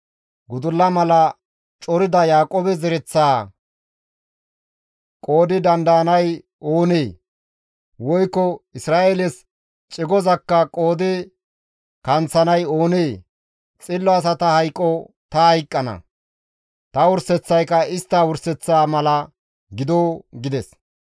Gudulla mala corida Yaaqoobe zereththaa qoodi dandayanay oonee? Woykko Isra7eeles cigozakka qoodi kanththanay oonee? Xillo asata hayqo ta hayqqana; ta wurseththayka istta wurseththaa mala gido» gides.